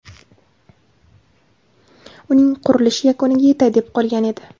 Uning qurilishi yakuniga yetay deb qolgan edi.